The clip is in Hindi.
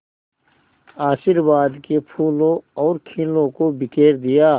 आशीर्वाद के फूलों और खीलों को बिखेर दिया